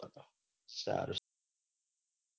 સારું